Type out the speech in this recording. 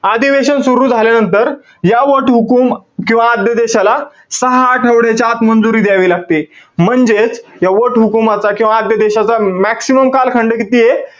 अधिवेशन सुरु झाल्यानंतर या वटहुकूम किंवा आद्यदेशाला, सहा आठवड्याच्या आत मंजुरी द्यावी लागते. म्हणजेच, या वटहुकूमाचा किंवा आद्यदेशाचा maximum कालखंड कितीय?